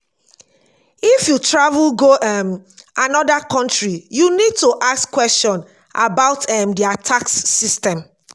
if you travel go um anoda country you need to ask question about um their tax system